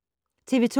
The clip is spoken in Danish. TV 2